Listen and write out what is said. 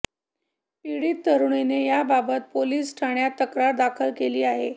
पीडित तरुणीने याबाबत पोलीस ठाण्यात तक्रार दाखल केली आहे